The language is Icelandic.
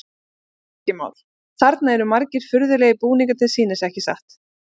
Helgi Már: Þarna eru margir furðulegir búningar til sýnis, ekki satt?